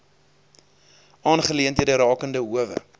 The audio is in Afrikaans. aangeleenthede rakende howe